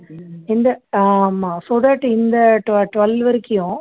இந்த ஆமா so that இந்த டு twelve வரைக்கும்